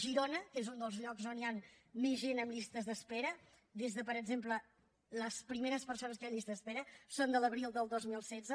girona que és un dels llocs on hi ha més gent en llistes d’espera les primeres persones que hi ha en llista d’espera són de l’abril del dos mil setze